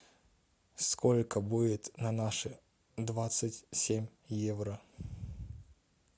сколько будет на наши двадцать семь евро